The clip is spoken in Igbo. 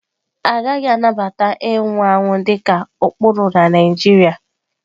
Agaghị anabata ịnwụ anwụ dị ka ụkpụrụ na Naijiria.